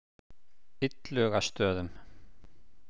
Illugastöðum